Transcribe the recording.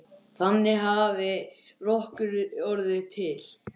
Þannig hafi Rökkur orðið til.